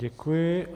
Děkuji.